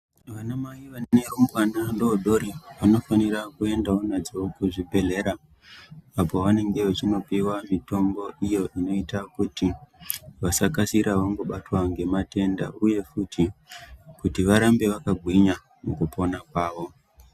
Vanamai vane arumbwana adodori vanofanira kuendawo nadzo kuzvibhedhlera apo pavanenge vechinopuwa mitombo iyo inoita kuti vasakasira vabatwa ngematenda uyewo futi kuti varambe vakagwinya mukupona kwavo.